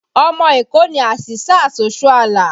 Ọmọ Èkó ni Asisat Oshoala